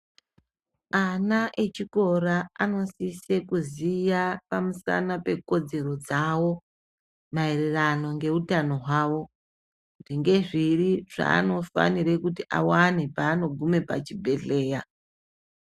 Ana echikora anosise kuziya pamusana pekodzero dzawo maererano ngeutano hwawo, kuti ngezviri zvaanofanire kuti awane paanogume pachibhedhleya.